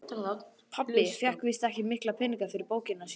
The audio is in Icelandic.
Pabbi fékk víst ekki mikla peninga fyrir bókina sína.